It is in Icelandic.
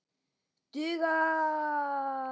Duga smokkar alltaf?